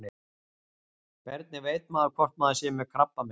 Hvernig veit maður hvort maður sé með krabbamein?